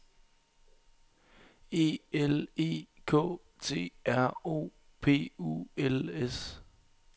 E L E K T R O P U L S